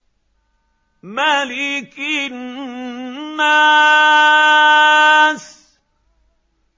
مَلِكِ النَّاسِ